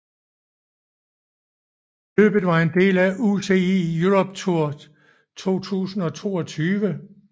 Løbet var en del af UCI Europe Tour 2022